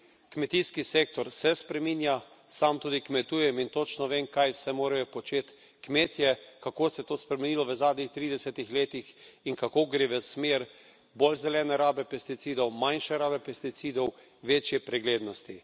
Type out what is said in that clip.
Kmetijski sektor se spreminja, sam tudi kmetujem in točno vem, kaj vse morajo početi kmetje, kako se je to spremenilo v zadnjih tridesetih letih in kako gre v smer bolj zelene rabe pesticidov, manjše rabe pesticidov, večje preglednosti.